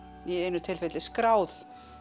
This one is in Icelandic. í einu tilfelli skráð